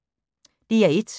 DR1